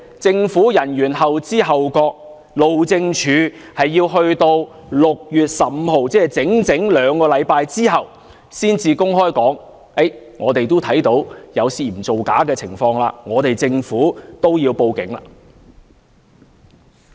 政府人員後知後覺，路政署要待到整整兩星期後的6月15日才公開說看到有涉嫌造假的情況，政府亦要報警。